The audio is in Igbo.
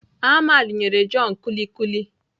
Ahmed nyere John kulikuli